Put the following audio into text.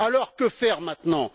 Alors, que faire maintenant?